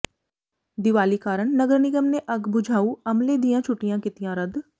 ਦੀਵਾਲੀ ਕਾਰਨ ਨਗਰ ਨਿਗਮ ਨੇ ਅੱਗ ਬੁਝਾਊ ਅਮਲੇ ਦੀਆਂ ਛੱੁਟੀਆਂ ਕੀਤੀਆਂ ਰੱਦ